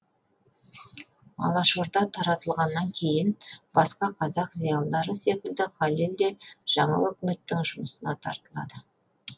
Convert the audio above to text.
алашорда таратылғаннан кейін басқа қазақ зиялылары секілді халел де жаңа өкіметтің жұмысына тартылады